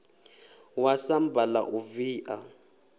wa samba la u via